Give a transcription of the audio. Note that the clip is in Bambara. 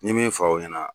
N ye min fɔ aw ɲɛna